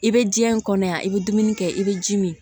I bɛ diɲɛ kɔnɔ yan i bɛ dumuni kɛ i bɛ ji min